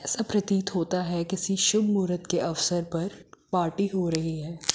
ऐसा प्रतीत होता है किसी शुभ मुहूर्त के अवसर पर पार्टी हो रही है।